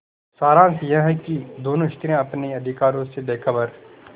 सारांश यह कि दोनों स्त्रियॉँ अपने अधिकारों से बेखबर